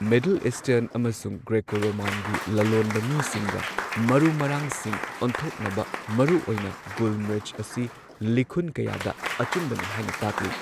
Middle Eastern ꯑꯃꯁꯨꯡ Greco ꯔꯣꯃꯥꯟꯒꯤ ꯂꯂꯣꯟꯕ ꯃꯤꯁꯤꯡꯒ ꯃꯔꯨ ꯃꯔꯥꯡꯁꯤꯡ ꯑꯣꯟꯊꯣꯛꯅꯕ, ꯃꯔꯨꯑꯣꯏꯅ ꯒꯨꯜ ꯃꯤꯔꯆ ꯑꯁꯤ ꯂꯤꯈꯨꯟ ꯀꯌꯥꯗ ꯑꯆꯨꯝꯕꯅꯤ ꯍꯥꯏꯅ ꯇꯥꯛꯂꯤ꯫